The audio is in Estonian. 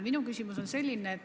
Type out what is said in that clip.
Minu küsimus on selline.